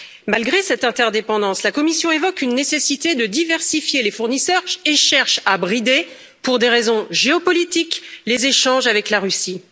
Malgré cette interdépendance, la Commission évoque la nécessité de diversifier les fournisseurs et cherche à brider, pour des raisons géopolitiques, les échanges avec la Russie.